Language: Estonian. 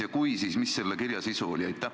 Ja kui olete, siis mis oli selle kirja sisu?